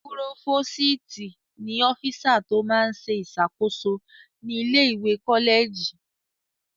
Púrófòstì ní ọ́físà tó máa n ṣe ìṣàkóso ní ilé-ìwé kọ́lẹ̀jì